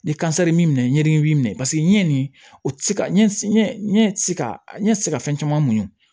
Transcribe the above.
Ni kansɛri b'i minɛ ɲɛ dimi b'i minɛ paseke n ye nin o ɲɛ se ka fɛn caman muɲun